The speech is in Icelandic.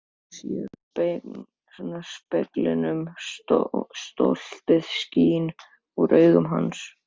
Hún sér í speglinum að stoltið skín úr augum hans.